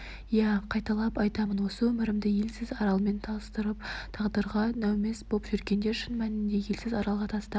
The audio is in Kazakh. иә қайталап айтамын осы өмірімді елсіз аралмен салыстырып тағдырға нәумез боп жүргенде шын мәнінде елсіз аралға тастап